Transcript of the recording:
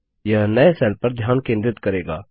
यह नए सेल पर ध्यान केंद्रित करेगा